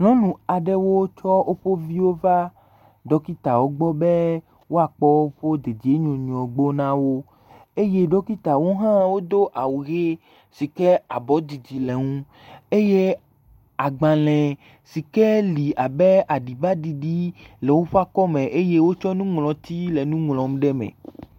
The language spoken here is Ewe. Nyɔnu aɖewo tsɔ woƒe viwo va ɖɔkitawo gbɔ be woakp woƒe dedienɔnɔ gbɔ na wo. Eye ɖɔkitawo hã wodo awu ʋe si ke abɔdidi le eŋu eye agbalẽ si ke le abe aɖibaɖiɖi le woƒe akɔme eye wotsɔ nuŋlɔti le nu ŋlɔm ɖe eme.